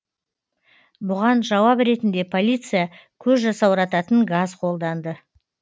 бұған жауап ретінде полиция көз жасаурататын газ қолданды